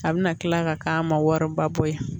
A bɛna kila ka k'a ma wɔɔrɔba bɔ ye